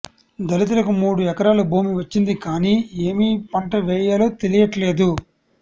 దళితులకు మూడు ఎకరాల భూమి వచ్చింది కానీ ఏమీ పంట వేయాలో తెలియట్లేదు